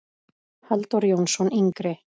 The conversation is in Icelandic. Halldór Jónsson yngri.